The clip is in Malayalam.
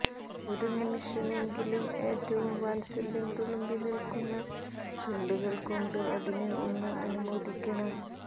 ഒരു നിമിഷമെങ്കിലും ഏറ്റവും വാത്സല്യം തുളുമ്പി നിൽക്കുന്ന ചുണ്ടുകൾകൊണ്ട് അതിനെ ഒന്ന് അനുമോദിക്കണം